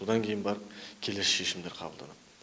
бұдан кейін барып келесі шешімдер қабылданады